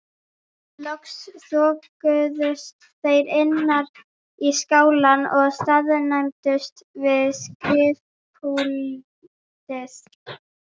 Loks þokuðust þeir innar í skálann og staðnæmdust við skrifpúltið.